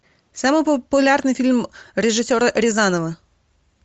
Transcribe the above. самый популярный фильм режиссера рязанова